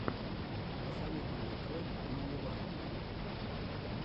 посоветуй мне трек мимилашки